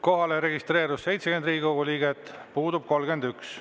Kohalolijaks registreerus 70 Riigikogu liiget, puudub 31.